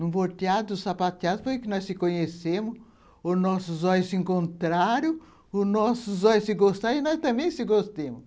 Num volteado dos sapateados foi que nós nos conhecemos, os nossos olhos se encontraram, os nossos olhos se gostaram e nós também nos gostamos.